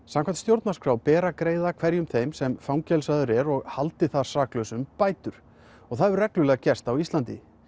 samkvæmt stjórnarskrá ber að greiða hverjum þeim sem fangelsaður er og haldið saklausum bætur og það hefur reglulega gerst á Íslandi